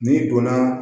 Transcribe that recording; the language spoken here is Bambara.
N'i donna